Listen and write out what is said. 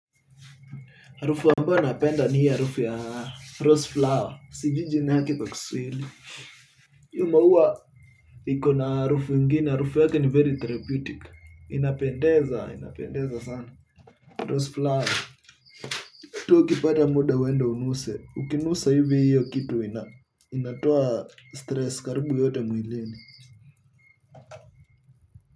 Harufu ambayo napenda ni hiyo harufu ya rose flower. Sijui jina yake kwa Kiswahili. Hiyo maua iko na harufu ingine. Harufu yake ni very therapeutic. Inapendeza, inapendeza sana. Rose flower pia ukipata muda uende uunuse ukinusa hivi hiyo kitu inatoa stress karibu yote mwilini.